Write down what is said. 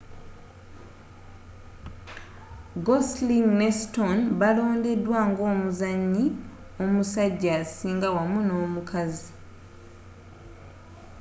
gosling ne stone baalondebwa ng'omuzannyi omusajja asinga wamu n'omukazi